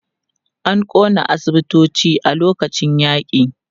An ƙona asibitoci a lokacin yaƙi.